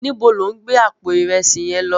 Nibó lò n gbé àpó irèsí yén lò?